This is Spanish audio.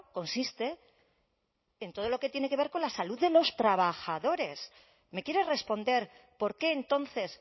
consiste en todo lo que tiene que ver con la salud de los trabajadores me quiere responder por qué entonces